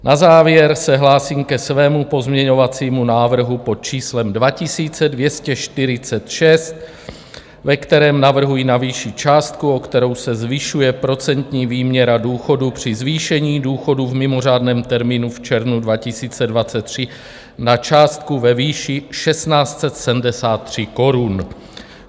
Na závěr se hlásím ke svému pozměňovacímu návrhu pod číslem 2246, ve kterém navrhuji navýšit částku, o kterou se zvyšuje procentní výměra důchodu při zvýšení důchodu v mimořádném termínu v červnu 2023, na částku ve výši 1 673 korun.